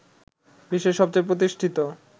বিশ্বের সবচেয়ে প্রতিষ্ঠিত